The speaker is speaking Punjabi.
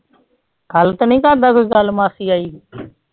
ਕਲ ਤਾ ਨਾ ਕਹਿੰਦਾ ਕਲ ਮਾਸੀ ਆਈ